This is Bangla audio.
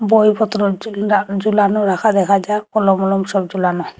বই পত্র ঝুলা ঝুলানো রাখা দেখা যাক কলম মলম সব ঝুলানো।